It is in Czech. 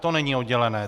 To není oddělené.